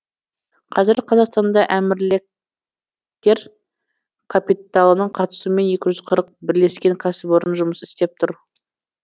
қазір қазақстанда әмірліктер капиталының қатысуымен екі жүз қырық бірлескен кәсіпорын жұмыс істеп тұр